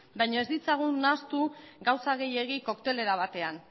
baina ez ditzagun nahastu gauza gehiegi koktelera batean